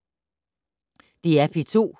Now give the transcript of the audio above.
DR P2